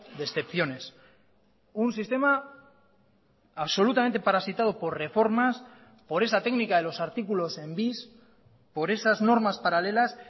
de excepciones un sistema absolutamente parasitado por reformas por esa técnica de los artículos en bis por esas normas paralelas